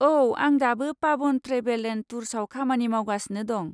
औ, आं दाबो पाभन ट्रेभेल एन्द टुर्सआव खामानि मावगासिनो दं।